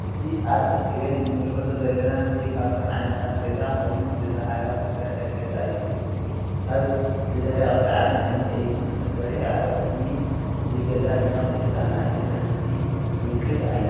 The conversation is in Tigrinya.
እዚ ኣብ እስክሪን እንምልከቶ ዘለና ምስሊ ካብቶም ዓይነታት ገዛ ኮይኑ ብ ባህላዊ ዝተሰርሐ ገዛ እዩ ።ካብ ዝደረቀ ሳዕርን ዕንጭየትን ተሰሪሑ ኣብ ቅድሚ እዚ ገዛ ድማ ክልተ ኣናእሽተይ ማሕሲ ንምልከት ኣለና።